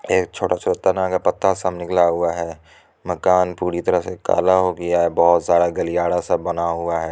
एक छोटा सा तना का पत्ता सब निकला हुआ है मकान पूरी तरह से काला हो गया है बहोत सारा गलियारा सब बना हुआ है।